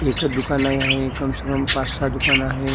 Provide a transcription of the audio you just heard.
एका दुकान आहे आणि कमसे कम पाच सहा दुकान आहे.